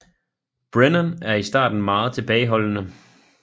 Brennan er i starten meget tilbageholdende